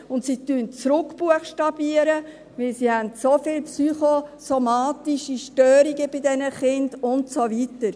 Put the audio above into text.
Sie buchstabieren zurück, denn sie haben bei diesen Kindern so viele psychosomatische Störungen und so weiter.